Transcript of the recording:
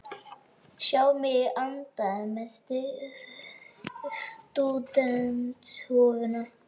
Sjái mig í anda með stúdentshúfuna.